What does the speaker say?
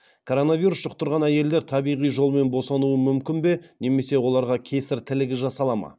коронавирус жұқтырған әйелдер табиғи жолмен босануы мүмкін бе немесе оларға кесір тілігі жасала ма